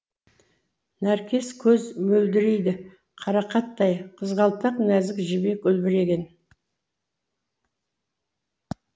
нәркес көз мөлдірейді қарақаттай қызғалдақ нәзік жібек үлбіреген